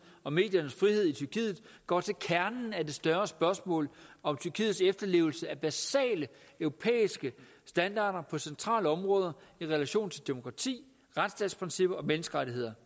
og mediernes frihed i tyrkiet går til kernen af det større spørgsmål om tyrkiets efterlevelse af basale europæiske standarder på centrale områder i relation til demokrati retsstatsprincipper og menneskerettigheder